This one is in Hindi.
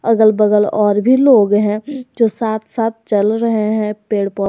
अगल बगल और भी लोग हैं जो साथ साथ चल रहे हैं पेड़ पौ--